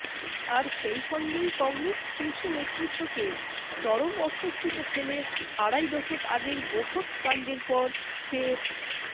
আর সেই সঙ্গেই কংগ্রেস শীর্ষনেতৃত্বকে চরম অস্বস্তিতে ফেলে আড়াই দশক আগের বফর্স কাণ্ডের পর ফের